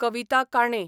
Kavita Kane